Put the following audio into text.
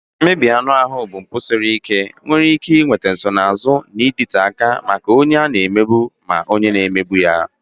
Mmegbu anụ ahụ bụ mpụ siri ike nke nwere ike ị nweta nsonaazụ na-adịte aka maka ma onye a na-emegbu ma onye na-emegbu ya.